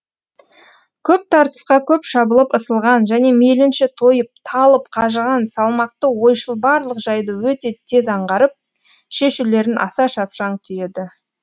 көп тартысқа көп шабылып ысылған және мейлінше тойып талып қажыған салмақты ойшыл барлық жайды өте тез аңғарып шешулерін аса шапшаң түйеді